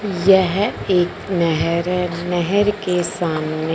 यह एक नहेर है नहर के सामने--